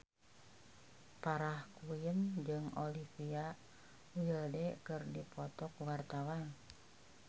Farah Quinn jeung Olivia Wilde keur dipoto ku wartawan